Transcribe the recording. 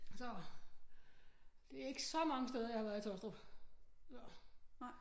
Så det er ikke så mange steder jeg har været i Taastrup